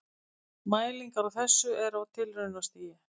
Mælingar á þessu eru á tilraunastigi.